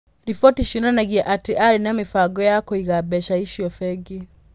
Riboti cionanagia atĩ aarĩ na mĩbango ya kũiga mbeca icio bengi.